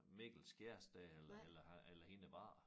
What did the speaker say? Mikkels kæreste eller eller eller hendes børn